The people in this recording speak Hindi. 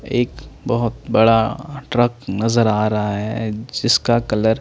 एक बहोत बड़ा ट्रक नजर आ रहा है जिसका कलर --